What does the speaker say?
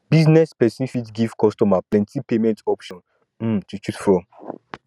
business person fit give customers plenty payment options um to choose from